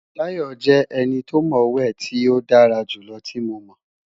Tayo jẹ eni to mo we ti o dara julọ ti Mo mọ